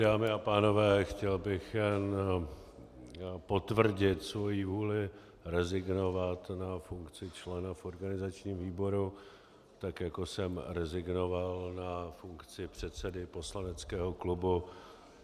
Dámy a pánové, chtěl bych jenom potvrdit svoji vůli rezignovat na funkci člena v organizačním výboru, tak jako jsem rezignoval na funkci předsedy poslaneckého klubu.